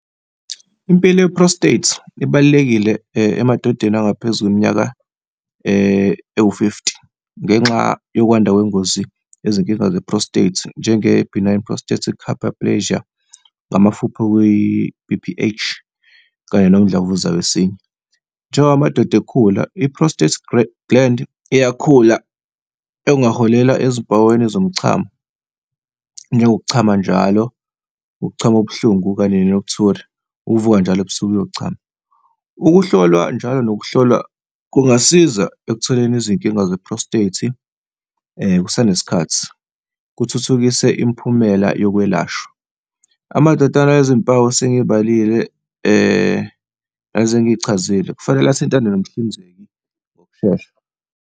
Impilo ye-prostate ibalulekile emadodeni angaphezu iminyaka ewu-fifthy. Ngenxa yokwanda kwengozi izinkinga ze-prostate njenge-Benign Prostatic Hyperplasia, ngamafuphi, okwiyi-B_P_H kanye nomdlavuza wesinye. Njengoba amadoda ekhula, i-prostate gland iyakhula okungaholela ezimpawini zomchamo, njengokuchama njalo, ukuchama okubuhlungu, kanye , ukuvuka njalo ebusuku uyochama. Ukuhlolwa njalo, nokuhlolwa kungasiza ekutholeni izinkinga ze-prostate kusanesikhathi, kuthuthukise imiphumela yokwelashwa. Amadoda anezimpawu esengiy'balile, lezi engiy'chazile, kufanele athintane nomhlinzeki ngokushesha.